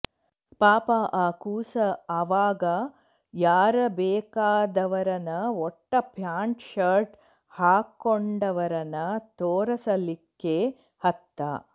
ಪಾಪ ಆ ಕೂಸ ಆವಾಗ ಯಾರ ಬೇಕಾದವರನ ಒಟ್ಟ ಪ್ಯಾಂಟ ಶರ್ಟ ಹಾಕ್ಕೊಂಡವರನ ತೋರಸಲಿಕ್ಕೆ ಹತ್ತ